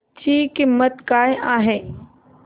ची किंमत काय आहे